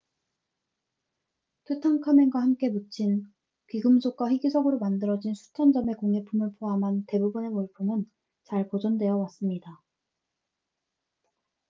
투탕카멘과 함께 묻힌 귀금속과 희귀석으로 만들어진 수천 점의 공예품을 포함한 대부분의 물품은 잘 보존되어 왔습니다